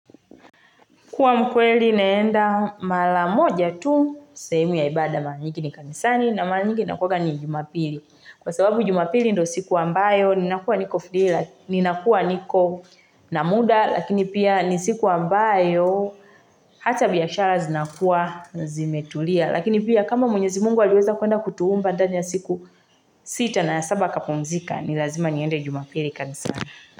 Kuwa mkweli naenda mara moja tu, sehemu ya ibada mara nyingi ni kanisani, na manyingi nakuga ni jumapili. Kwa sababu jumapili ndo siku ambayo, ninakua niko na muda, lakini pia ni siku ambayo, hata biashara zinakuwa zimetulia. Lakini pia kama mwenyezi mungu aliweza kuenda kutuumba, ndani ya siku sita na saba kapumzika, nilazima niende jumapili kanisani.